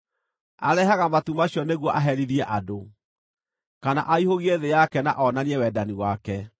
Arehaga matu macio nĩguo aherithie andũ, kana aihũgie thĩ yake na onanie wendani wake.